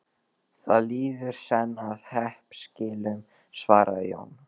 Það líður senn að hreppskilum, svaraði Jón.